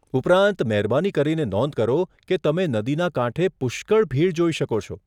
ઉપરાંત, મહેરબાની કરીને નોંધ કરો કે તમે નદીના કાંઠે પુષ્કળ ભીડ જોઈ શકો છો.